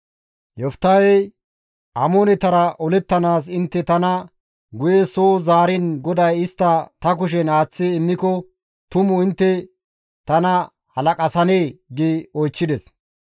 Yoftahey, «Amoonetara olettanaas intte tana guye soo zaariin GODAY istta ta kushen aaththi immiko tumu intte tana halaqasanee?» gi oychchides.